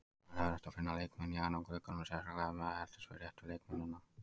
Það er erfitt að finna leikmenn í janúarglugganum, sérstaklega ef maður eltist við réttu leikmennina.